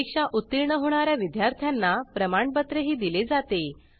परीक्षा उत्तीर्ण होणा या विद्यार्थ्यांना प्रमाणपत्रही दिले जाते